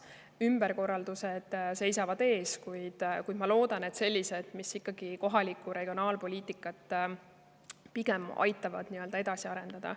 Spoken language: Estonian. Ümberkorraldused seisavad ees, kuid ma loodan, et need on sellised, mis ikkagi kohalikku regionaalpoliitikat pigem aitavad edasi arendada.